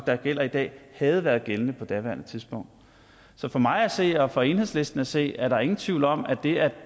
der gælder i dag havde været gældende på daværende tidspunkt så for mig at se og for enhedslisten at se er der ingen tvivl om at det at